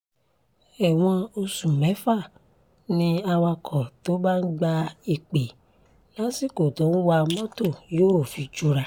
ẹ̀wọ̀n oṣù mẹ́fà ni awakọ̀ tó bá ń gba ìpè lásìkò tó ń wa mọ́tò yóò fi jura